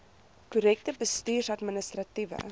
korrekte bestuurs administratiewe